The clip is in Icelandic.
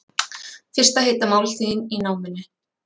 Fyrsta heita máltíðin í námunni